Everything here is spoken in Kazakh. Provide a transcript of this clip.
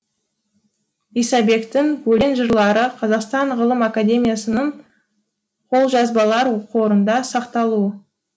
исабектің өлең жырлары қазақстан ғылым академиясының қолжазбалар қорында сақтаулы